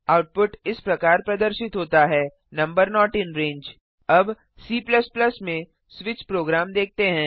output इस प्रकार प्रदर्शित होता है नंबर नोट इन रंगे अब C में स्विच प्रोग्राम देखते हैं